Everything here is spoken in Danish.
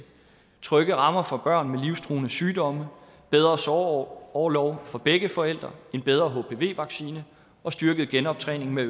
trygge rammer for børn med livstruende sygdomme bedre sorgorlov for begge forældre en bedre hpv vaccine og styrket genoptræning med